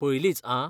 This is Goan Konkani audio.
पयलींच आं.